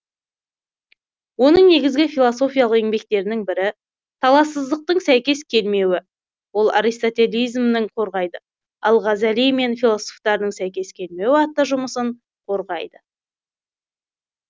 оның негізгі философиялық еңбектерінің бірі талассыздықтың сәйкес келмеуі ол аристотеланизмді қорғайды әл ғазали мен философтардың сәйкес келмеуі атты жұмысын қорғайды